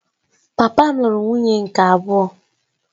Papa m lụrụ nwunye nke abụọ